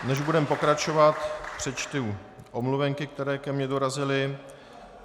Než budeme pokračovat, přečtu omluvenky, které ke mně dorazily.